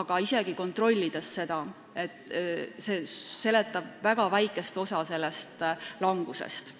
aga olen seda kontrollinud ja see seletab väga väikest osa sellest langusest.